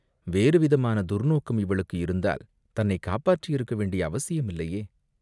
வேறு விதமான துர்நோக்கம் இவளுக்கு இருந்தால் தன்னைக் காப்பாற்றியிருக்க வேண்டிய அவசியமில்லையே?